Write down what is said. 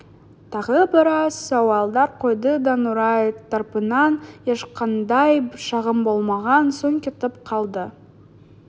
тағы біраз сауалдар қойды да нұрай тарапынан ешқандай шағым болмаған соң кетіп қалды